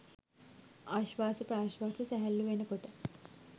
ආශ්වාස ප්‍රශ්වාස සැහැල්ලු වෙන කොට